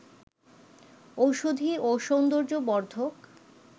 ঔষধি ও সৌন্দর্য বর্ধক